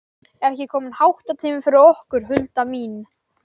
Er ekki kominn háttatími fyrir okkur, Hulda mín?